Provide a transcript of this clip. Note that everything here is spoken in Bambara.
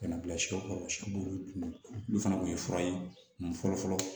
Ka na bila siyɛw kɔrɔ siɲɛ b'olu dun olu fana kun ye fura ye fɔlɔ